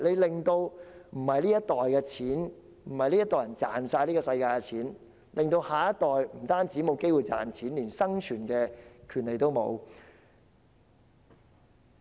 我們這一代人不是要賺盡全世界的金錢，致令下一代不但沒有賺錢的機會，連生存的權利也沒有。